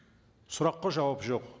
сұраққа жауап жоқ